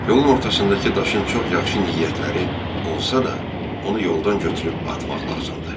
Yolun ortasındakı daşın çox yaxşı niyyətləri olsa da, onu yoldan götürüb atmaq lazımdır.